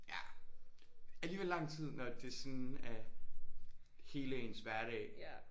Ja alligevel lang tid når det sådan er hele ens hverdag